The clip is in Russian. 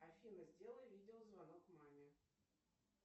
афина сделай видеозвонок маме